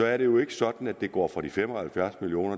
er det jo ikke sådan at det går fra de fem og halvfjerds million